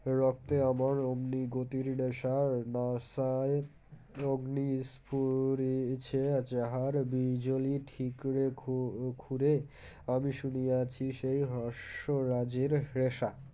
রক্তে আমার অমনি গতির নেশা না সায় অগ্নি স্ফুরিছে যাহার বিজলী ঠিকরে খু খুড়ে আমি শুনিয়াছি সেই হৃষ্য রাজের হৃষা